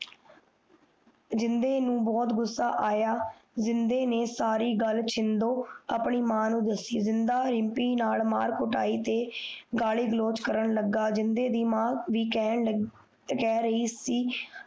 ਜਿੰਨਦੇ ਨੂੰ ਬੋਹਤ ਗੁੱਸਾ ਆਯਾ ਜਿੰਨਦੇ ਨੇ ਸਾਰੀ ਗੱਲ ਸ਼ਿੰਦੋ ਆਪਣੀ ਮਾਂ ਨੂੰ ਦੱਸੀ ਜਿੰਨਦਾ ਰਿਮਪੀ ਨਾਲ ਮਾਰ ਕੁਟਾਈ ਕਰਨ ਲਗਾ ਗਾਲੀ ਗਲੋਚ ਕਰਨ ਲਗਾ ਜਿੰਨਦੇ ਦੀ ਮਾਂ ਬੀ ਕੈ ਰਹੀ ਸੀ